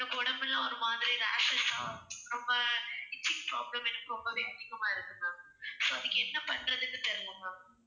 எனக்கு உடம்பெல்லாம் ஒரு மாதிரி rashes ஆ ரொம்ப itching problem எனக்கு ரொம்பவே அதிகமா இருக்கு ma'am so அதுக்கு என்ன பண்றதுனு தெரியல ma'am